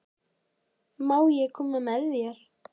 Má ég koma með þér?